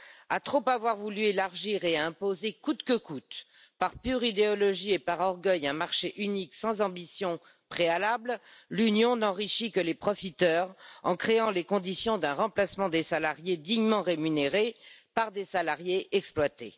À trop avoir voulu élargir et imposer coûte que coûte, par pure idéologie et par orgueil, un marché unique sans ambition préalable, l'Union n'enrichit que les profiteurs, en créant les conditions d'un remplacement des salariés dignement rémunérés par des salariés exploités.